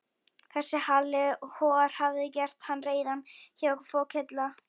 Þessi Halli hor hafði gert hann reiðan, já, fokillan.